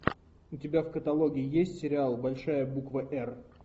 у тебя в каталоге есть сериал большая буква р